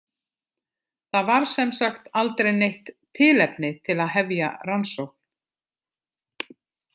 Það var sem sagt aldrei neitt tilefni til að hefja rannsókn.